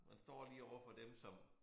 Man står lige overfor dem som